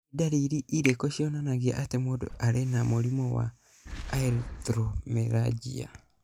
Nĩ ndariri irĩkũ cionanagia atĩ mũndũ arĩ na mũrimũ wa Erythromelalgia?